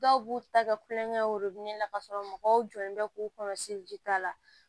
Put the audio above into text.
Dɔw b'u ta kɛ kulonkɛ ro la k'a sɔrɔ mɔgɔw jɔlen bɛ k'u kɔlɔsili ta la